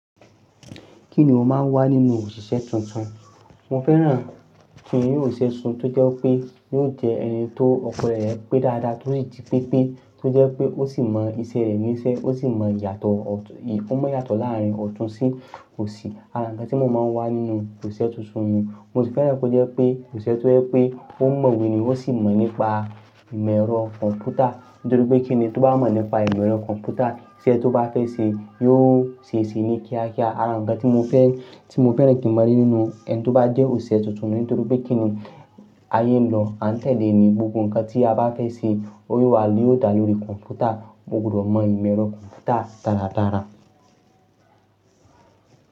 Kí ni o máa ń wá nínú òṣìṣẹ́ tuntun? Mo fẹ́ràn kí n ri oṣiṣẹ̀ tuntun tó jẹ́ pé yóò jẹ́ ẹni tó ọkan rẹ̀ pé dáadáa, tó sì jí pépé tó jẹ́ pé ó sì mọ iṣẹ́ rẹ̀ níṣẹ́, ó sì mọ ìyàtọ̀, ó mọ ìyàtọ̀ láárín ọ̀tún sí òsì. Àra ǹkan tí mo máa ń wá nínú òṣìṣẹ́ tuntun nu un Mo sì fẹ́ràn kí ó jẹ́ pé òṣìṣẹ́ tó jẹ́ pé ó mọ̀ iwe ni, ó sì mọ̀ nípa ìmọ̀ ẹ̀rọ kọ̀ǹpútà nítorí pé kíni tó bá mọ̀ nípa ìmọ̀ ẹ̀rọ kọ̀ǹpútà iṣẹ́ tó bá fẹ́ ṣe, yóò ṣe se ní kíákíá. Àran ǹkan tí mo fẹ́, tí mo fẹ́ràn kí n mo rí nínú ẹni tó bá jẹ́ òṣìṣẹ́ tuntun ni nítorí pé kíni ayé nlo, à ń tẹ̀lẹ̀ ní gbogbo ǹkan tí a bá fẹ́ ṣe ó yóò wa yoo da lórí kọ̀ǹpútà, mo gbudọ̀ mọ ìmọ̀ ẹ̀rọ kọ̀ǹpútà dáradára.